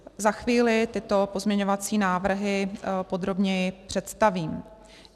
Za chvíli tyto pozměňovací návrhy podrobněji představím.